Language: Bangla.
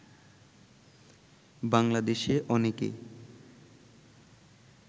বাংলাদেশে অনেকে